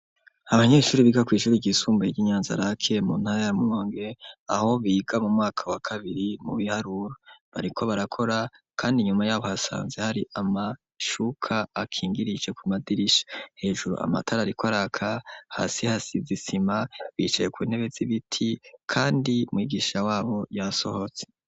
Abanyeshure biga kw'ishure ryisumbuye ry'Inyanza rake, mu ntara ya Rumonge, aho biga mu mwaka wa kabiri mu biharuro, bariko barakora kandi inyuma yabo hasanzwe hari amashuka akingirije ku madirisha. Hejuru amatara ariko araka, hasi hasize isima, bicaye ku ntebe z'ibiti kandi mwigisha wabo yasohotse.